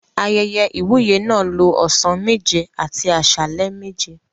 Ayẹyẹ ìwúyè náà lo ọ̀sán méje àti àsálẹ́ méje.